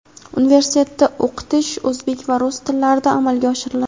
Universitetda o‘qitish o‘zbek va rus tillarida amalga oshiriladi.